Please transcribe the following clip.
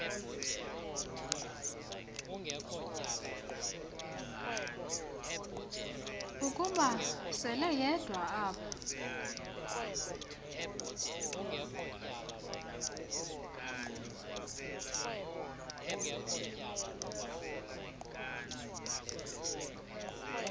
ukuba seleyedwa apho